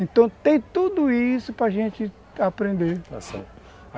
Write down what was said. Então tem tudo isso para gente aprender, está certo.